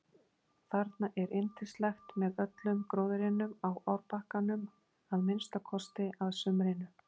Þarna er yndislegt með öllum gróðrinum á árbakkanum að minnsta kosti að sumrinu.